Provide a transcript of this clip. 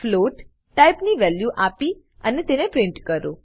float ટાઈપની value આપી અને તેને પ્રિન્ટ કરો